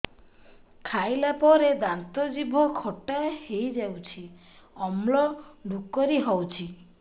ଖାଇଲା ପରେ ଦାନ୍ତ ଜିଭ ଖଟା ହେଇଯାଉଛି ଅମ୍ଳ ଡ଼ୁକରି ହଉଛି